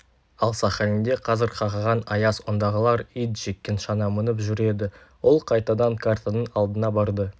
ал сахалинде қазір қақаған аяз ондағылар ит жеккен шана мініп жүреді ол қайтадан картаның алдына барды